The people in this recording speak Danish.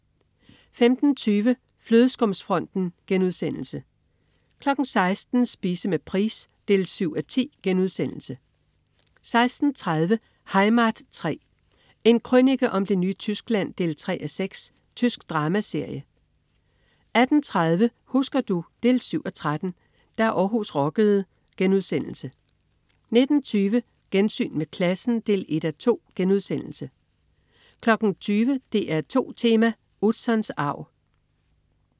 15.20 Flødeskumsfronten* 16.00 Spise med Price 7:10* 16.30 Heimat 3. En krønike om det nye Tyskland 3:6. Tysk dramaserie 18.30 Husker du? 7:13. Da Århus rockede* 19.20 Gensyn med klassen 1:2* 20.00 DR2 Tema: Utzons arv